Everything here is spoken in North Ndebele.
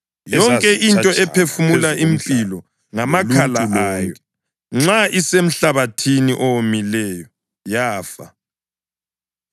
Yonke into ephefumula impilo ngamakhala ayo nxa isemhlabathini owomileyo yafa.